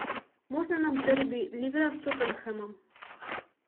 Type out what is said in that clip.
можно нам дерби ливера с тоттенхэмом